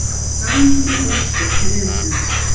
Hamingjuóskir til liðsins.